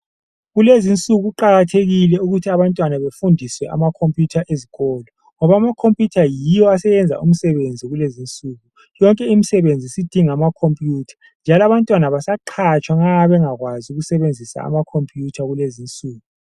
Kulezinsuku kuqakathekile ukuthi abantwana befundiswe ama computer ezikolo ngoba ama computer yiwo aseyenza umsebenzi kulezinsuku. Yonke imisebenzi isidinga ama computer njalo abantwana abasaqhatshwa nxa bengakwazi ukusebenzisa ama computer kulezi insuku.